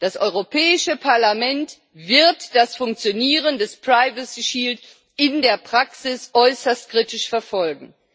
Das Europäische Parlament wird das Funktionieren des privacy shield in der Praxis äußerst kritisch verfolgen.